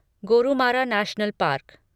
Gorumara national park